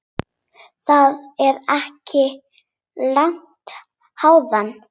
Það er ekki langt héðan.